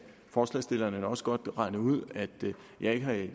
forslagsstillerne nok også godt regne ud at jeg ikke